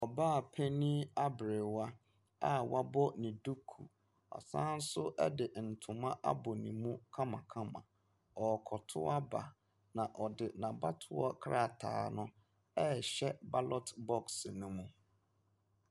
Ɔbaapanin aberwa a wɔabɔ ne duku, ɔsan so de ntoma abɔ ne mu kamakama. Ɔrekɔtow aba, na ɔde n’abatoɔ krataa no ɛrehyɛ ballot box ne mu.